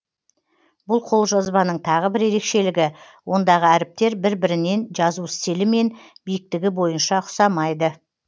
бұл қолжазбаның тағы бір ерекшілігі ондағы әріптер бір бірінен жазу стилі мен биіктігі бойынша ұқсамайды